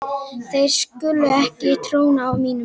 Þær skulu ekki tróna á mínum vegg.